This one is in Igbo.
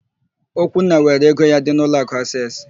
Okwunna were ego ya dị n'ụlọakụ Aseesị.